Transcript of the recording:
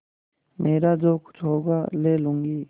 मेरा जो कुछ होगा ले लूँगी